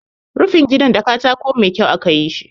Rufin gidan da katako mai kyau aka yi shi.